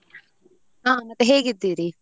ಹಾ ಮತ್ತೆ ಹೇಗಿದ್ದೀರಿ?